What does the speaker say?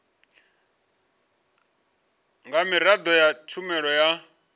nga miraḓo ya tshumelo ya